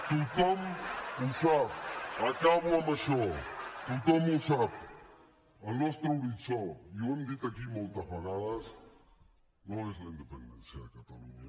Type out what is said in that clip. tothom ho sap acabo amb això tothom ho sap el nostre horitzó i ho hem dit aquí moltes vegades no és la independència de catalunya